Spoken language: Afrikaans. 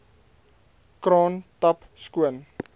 kraan tap skoon